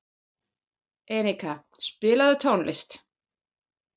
Enika, spilaðu tónlist.